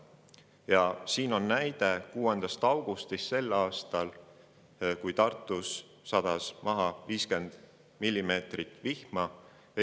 Nende kohta on tuua näide 6. augustist 2024. aastal, kui Tartus sadas maha 50 millimeetrit vihma.